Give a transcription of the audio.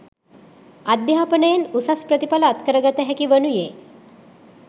අධ්‍යාපනයෙන් උසස් ප්‍රතිඵල අත්කර ගත හැකි වනුයේ